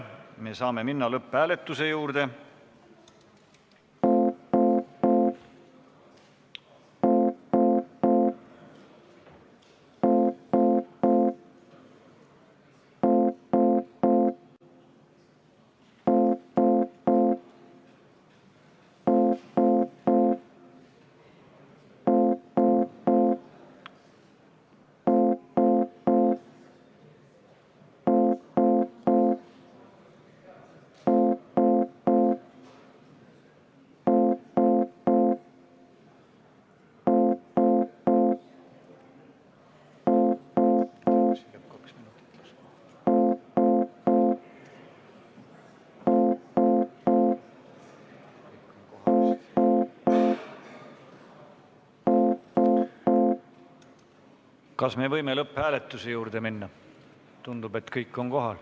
Me saame minna lõpphääletuse juurde.